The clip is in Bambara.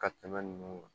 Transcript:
Ka tɛmɛ ninnu kan